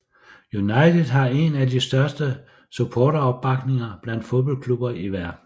United har en af de største supporteropbakninger blandt fodboldklubber i verden